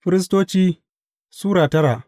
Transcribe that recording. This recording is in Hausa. Firistoci Sura tara